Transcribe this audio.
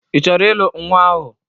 I chọrọ ịlụ nnwa ahụ?